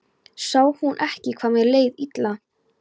Sá hún ekki hvað mér leið illa?